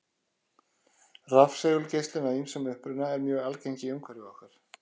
Rafsegulgeislun af ýmsum uppruna er mjög algeng í umhverfi okkar.